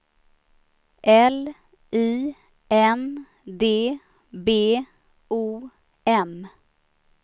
L I N D B O M